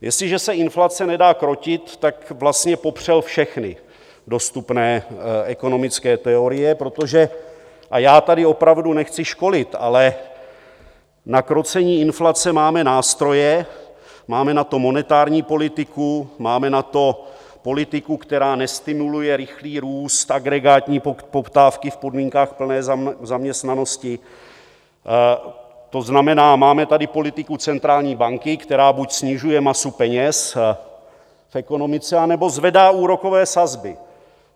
Jestliže se inflace nedá krotit, tak vlastně popřel všechny dostupné ekonomické teorie, protože - a já tady opravdu nechci školit, ale na krocení inflace máme nástroje, máme na to monetární politiku, máme na to politiku, která nestimuluje rychlý růst agregátní poptávky v podmínkách plné zaměstnanosti, to znamená, máme tady politiku centrální banky, která buď snižuje masu peněz v ekonomice, anebo zvedá úrokové sazby.